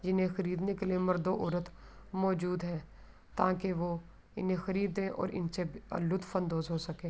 جنھ خریدنے کے لئے مرد اور عورت موزود ہے تاکی وو انھ خریدے انسے لطف اندوز ہو سکے۔